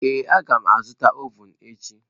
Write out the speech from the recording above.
Ee, a ga m azụta ovun echi.